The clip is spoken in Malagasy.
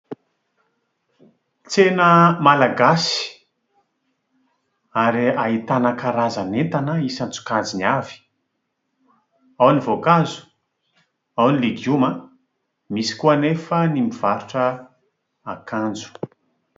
Tsena malagasy ary ahitana karazan'entana isan-tsokajiny avy. Ao ny voankazo, ao ny legioma. Misy koa anefa ny mivarotra voankazo.